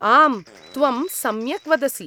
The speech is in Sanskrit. आम्, त्वं सम्यक् वदसि।